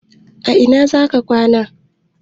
A ina za ka kwana?